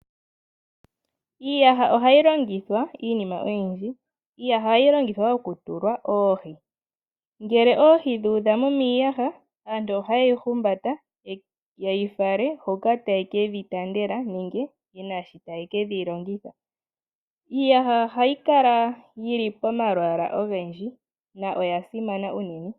Iiyaha ohayi longithwa iinima oyindji. Iiyaha ohayi longithwa okutulwa oohi. Ngele oohi dhu udha mo miiyaha, aantu ohaye yi humbata ye yi fale hoka taye kedhi tandela nenge ye na shoka taye ke dhi longitha. Iiyaha ohayi kala yi li pamalwaala ogendji noya simana unene.